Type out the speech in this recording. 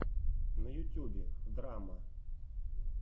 на ютюбе драмма